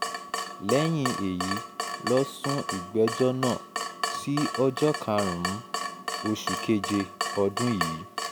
lẹ́yìn èyí ló sún ìgbẹ́jọ́ náà sí ọjọ́ karùn-ún oṣù keje ọdún yìí